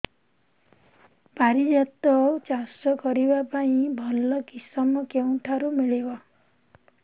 ପାରିଜାତ ଚାଷ କରିବା ପାଇଁ ଭଲ କିଶମ କେଉଁଠାରୁ ମିଳିବ